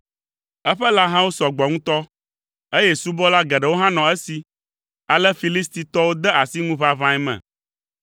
Eƒe lãhawo sɔ gbɔ ŋutɔ, eye subɔla geɖewo hã nɔ esi. Ale Filistitɔwo de asi ŋuʋaʋãe me.